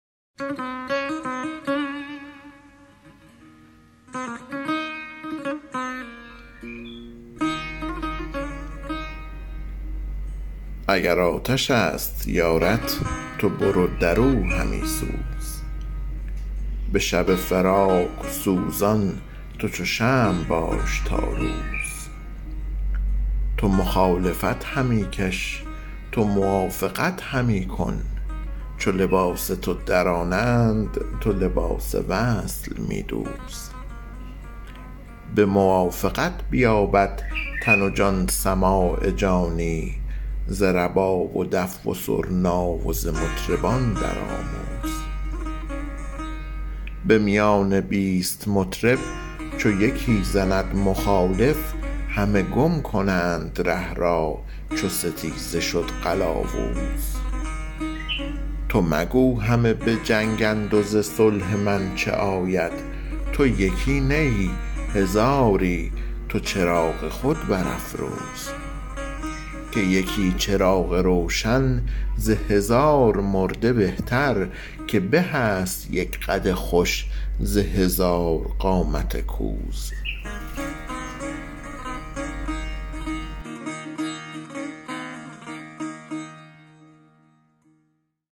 اگر آتش است یارت تو برو در او همی سوز به شب فراق سوزان تو چو شمع باش تا روز تو مخالفت همی کش تو موافقت همی کن چو لباس تو درانند تو لباس وصل می دوز به موافقت بیابد تن و جان سماع جانی ز رباب و دف و سرنا و ز مطربان درآموز به میان بیست مطرب چو یکی زند مخالف همه گم کنند ره را چو ستیزه شد قلاوز تو مگو همه به جنگند و ز صلح من چه آید تو یکی نه ای هزاری تو چراغ خود برافروز که یکی چراغ روشن ز هزار مرده بهتر که به است یک قد خوش ز هزار قامت کوز